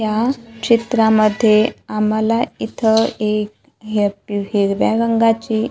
या चित्रामध्ये आम्हाला इथं एक ही पी हिरव्या रंगाची--